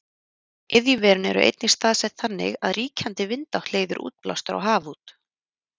iðjuverin eru einnig staðsett þannig að ríkjandi vindátt leiðir útblástur á haf út